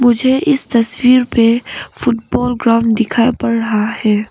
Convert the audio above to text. मुझे इस तस्वीर में फुटबॉल ग्राउंड दिखाई पड़ रहा है।